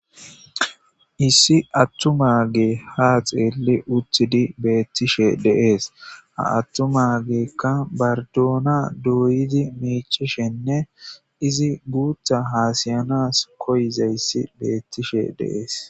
issi attumagee ha xeelli uthidi beettishe de'ees aattuma geekka bardoona duuyidi miichishenne izi guutha haasayanas koyizayssi beettishe de'ees